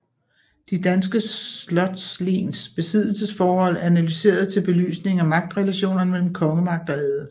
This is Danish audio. De danske slotslens besiddelsesforhold analyseret til belysning af magtrelationerne mellem kongemagt og adel